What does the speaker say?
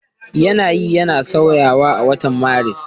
Yanayi yana sauyawa a watan Maris.